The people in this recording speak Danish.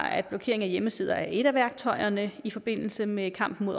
at blokering af hjemmesider er et af værktøjerne i forbindelse med kampen